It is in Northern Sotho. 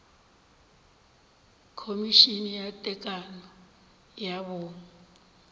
khomišene ya tekano ya bong